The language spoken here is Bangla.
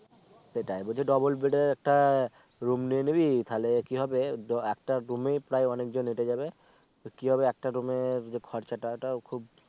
সেটাই বলছি double bed এ একটা room নিয়ে নিবি তাহলে কি হবে দো একটা room এ প্রায় অনেক জন এটে যাবে তো কি হবে একটা room এ যে খরচা টা টা খুব